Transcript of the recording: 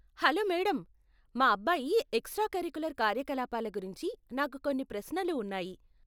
Hello madam, మా అబ్బాయి extra curricular కార్యకలాపాల గురించి నాకు కొన్ని ప్రశ్నలు ఉన్నాయి.